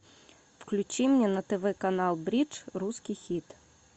включи мне на тв канал бридж русский хит